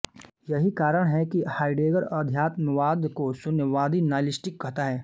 यही कारण है कि हाइडेगर अध्यात्मवाद को शून्यवादी नाइलिस्टिक कहता है